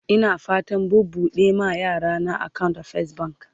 Ina fatan buɓuɗe ma yarana akawunt a fes bank